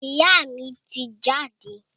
Ìyá mi ti jáde.